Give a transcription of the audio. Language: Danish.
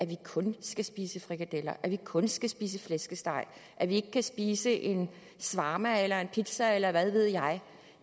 vi kun skal spise frikadeller vi kun skal spise flæskesteg og at vi ikke kan spise en shawarma eller en pizza eller hvad ved jeg